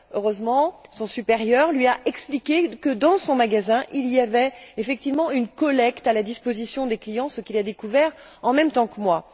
Heureusement, son supérieur lui a expliqué que, dans son magasin, il y avait effectivement un point de collecte à la disposition des clients, ce qu'il a découvert en même temps que moi.